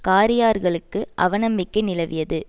காரியார்களுக்கு அவநம்பிக்கை நிலவியது